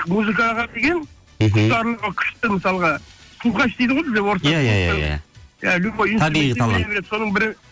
музыкаға деген мхм құштарлығы күшті мысалға слухач дейді ғой бізде орыстарда иә иә иә иә любой табиғи талант соның бірі